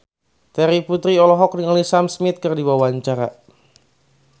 Terry Putri olohok ningali Sam Smith keur diwawancara